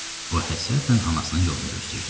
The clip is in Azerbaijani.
O həsrətlə anasının yolunu gözləyirdi.